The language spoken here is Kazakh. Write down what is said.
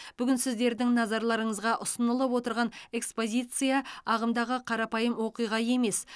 бүгін сіздердің назарларыңызға ұсынылып отырған экспозиция ағымдағы қарапайым оқиға емес